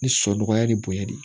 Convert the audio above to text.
Ni sɔ nɔgɔya ni bonya de don